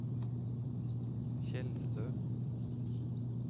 Tjeldstø